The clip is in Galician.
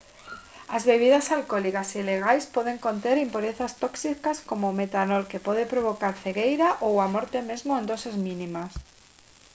as bebidas alcólicas ilegais poden conter impurezas tóxicas como o metanol que pode provocar cegueira ou a morte mesmo en doses mínimas